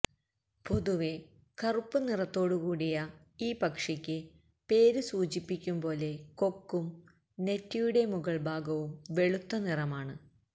പൊതുവെ കറുപ്പുനിറത്തോടുകൂടിയ ഈ പക്ഷിക്ക് പേര് സൂചിപ്പിക്കും പോലെ കൊക്കും നെറ്റിയുടെ മുകള്ഭാഗവും വെളുത്ത നിറമാണ്